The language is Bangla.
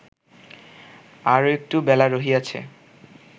আরও একটু বেলা রহিয়াছে